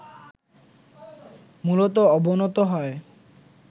মূলত অবনত হয়